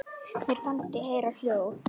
Mér fannst ég heyra hljóð.